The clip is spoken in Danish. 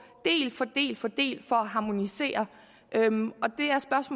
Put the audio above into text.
del for del for at harmonisere